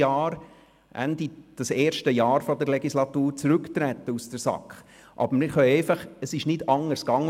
Ich werde Ende des ersten Jahres der Legislatur aus der SAK zurücktreten!